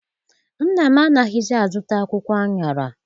Nna m anaghịzi a zụta akwụkwọ aṅara.